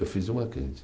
Eu fiz o Mackenzie.